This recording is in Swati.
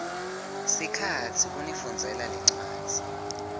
sikhatsi kunifundzela lencwadzi